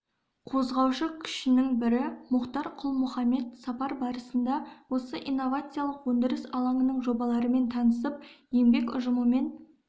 қозғаушы күшінің бірі мұхтар құл-мұхаммед сапар барысында осы инновациялық өндіріс алаңының жобаларымен танысып еңбек ұжымымен